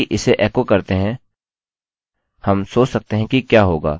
इसे ऐसे ही रखते हैं